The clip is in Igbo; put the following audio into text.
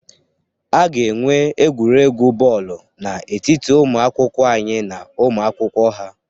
A ga-enwe egwuregwu bọọlụ n'etiti ụmụ akwụkwọ anyị na ụmụ akwụkwọ ha